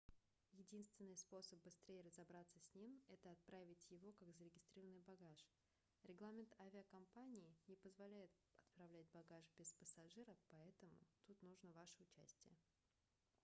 единственный способ быстрее разобраться с ним это отправить его как зарегистрированный багаж регламент авиакомпании не позволяет отправлять багаж без пассажира поэтому тут нужно ваше участие